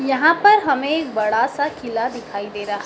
यहां पर हमें एक बड़ासा किला दिखाई दे रहा--